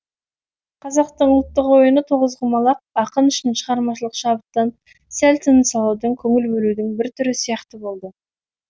қазақтың ұлттық ойыны тоғызқұмалақ ақын үшін шығармашылық шабыттан сәл тыныс алудың көңіл бөлудің бір түрі сияқты болды